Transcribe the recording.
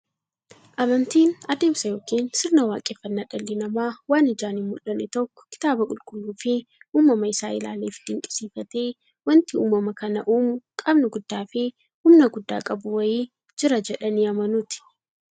Amantiin adeemsa yookiin sirna waaqeffannaa dhalli namaa waan ijaan hinmullanne tokko kitaaba qulqulluufi uumama isaa isaa ilaaleefi dinqisiifatee, wanti uumama kana uumu qaamni guddaafi humna guddaa qabu wa'ii jira jedhanii amanuuti.